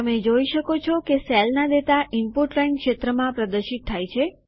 તમે જોઈ શકો છો કે સેલના ડેટા ઈનપુટ લાઇન ક્ષેત્રમાં પ્રદર્શિત થાય છે